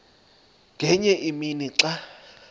ngenye imini xa